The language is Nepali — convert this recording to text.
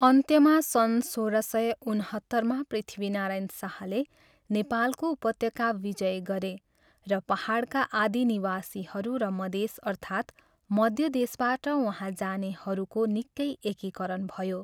अन्त्यमा सन् सोह्र सय उनहत्तरमा पृथ्वीनारायण शाहले नेपालको उपत्यका विजय गरे र पाहाडका आदि निवासीहरू र मधेस अर्थात् मध्य देशबाट वहाँ जानेहरूको निकै एकीकरण भयो।